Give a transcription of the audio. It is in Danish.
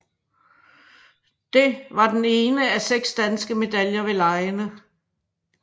Det var den ene af seks danske medaljer ved legene